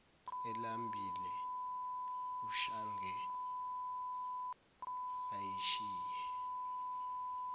elambile ushange ayishiye